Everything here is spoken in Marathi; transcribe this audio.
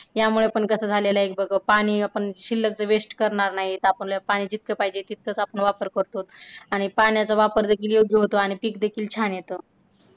यामुळे पण कसं झालेला आहे, बघ पाणी आपण शिल्लक waste करणार नाही आपल्याला पाणी जितकं पाहिजे तितकच आपण वापर करतो आणि पाण्याचा वापर देखील योग्य होतो आणि पिक देखील छान येतं.